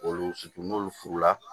Olu fitini n'olu furula